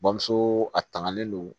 Bamuso a tangalen don